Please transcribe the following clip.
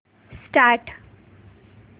start